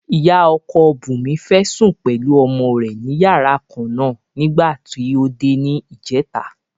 Ìyá ọkọ Bùnmi fẹ́ sùn pẹ̀lú ọmọ rẹ̀ ní yàrá kan náà nígbà tí ó dé ní ìjẹta.